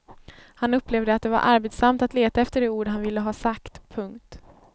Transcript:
Han upplevde att det var arbetsamt att leta efter de ord han ville ha sagt. punkt